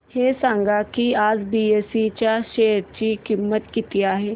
हे सांगा की आज बीएसई च्या शेअर ची किंमत किती आहे